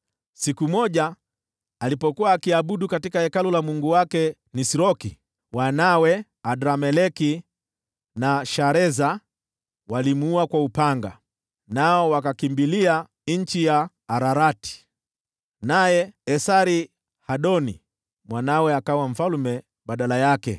Siku moja, alipokuwa akiabudu katika hekalu la mungu wake Nisroki, wanawe Adrameleki na Shareza wakamuua kwa upanga, nao wakakimbilia nchi ya Ararati. Naye Esar-Hadoni mwanawe akawa mfalme badala yake.